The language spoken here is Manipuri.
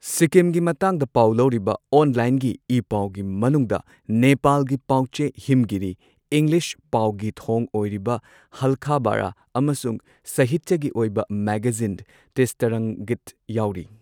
ꯁꯤꯛꯀꯤꯝꯒꯤ ꯃꯇꯥꯡꯗ ꯄꯥꯎ ꯂꯧꯔꯤꯕ ꯑꯣꯟꯂꯥꯏꯟꯒꯤ ꯏ ꯄꯥꯎꯒꯤ ꯃꯅꯨꯡꯗ ꯅꯦꯄꯥꯜꯒꯤ ꯄꯥꯎ ꯆꯦ ꯍꯤꯝꯒꯤꯔꯤ, ꯏꯪꯂꯤꯁ ꯄꯥꯎꯒꯤ ꯊꯣꯡ ꯑꯣꯏꯔꯤꯕ ꯍꯥꯜꯈꯕꯔ ꯑꯃꯁꯨꯡ ꯁꯥꯍꯤꯇ꯭ꯌꯒꯤ ꯑꯣꯏꯕ ꯃꯦꯒꯥꯖꯤꯟ ꯇꯤꯁ꯭ꯇꯥꯔꯪꯒꯤꯠ ꯌꯥꯎꯔꯤ꯫